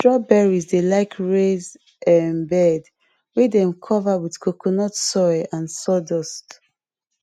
strawberries dey like raise um bed wey dem cover with coconut soil and sawdust